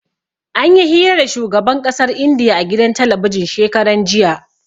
Anyi hira da shugaban ƙasar Indiya a gidan talabijin shekaran jiya.